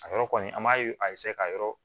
A yɔrɔ kɔni an b'a a ka yɔrɔ